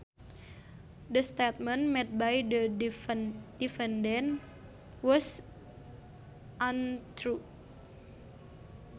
The statement made by the defendant was untrue